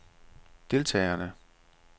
deltagerne